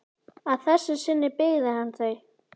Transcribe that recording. Að þessu sinni byggði hann þau.